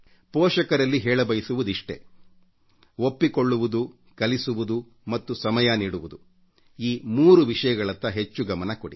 ಪೋಷಕರಲ್ಲಿ ಹೇಳಬಯಸುವುದಿಷ್ಟೇ ಒಪ್ಪಿಕೊಳ್ಳುವುದು ಕಲಿಸುವುದು ಮತ್ತು ಸಮಯ ನೀಡುವುದು ಈ 3 ವಿಷಯಗಳತ್ತ ಹೆಚ್ಚು ಗಮನ ಕೊಡಿ